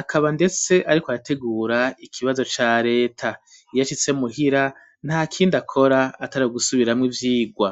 akaba ndetse ariko arategura ikibazo ca leta iyashitse mu hira ntakindi akora atari gusubiramo ivyirwa.